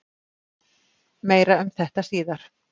Meira um þetta síðar.